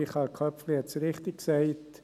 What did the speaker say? Michael Köpfli hat es richtig gesagt: